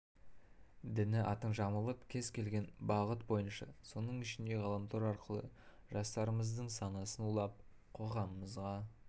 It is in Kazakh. діні атын жамылып кез келген бағыт бойынша соның ішінде ғаламтор арқылы дажастарымыздың санасын улап қоғамымызға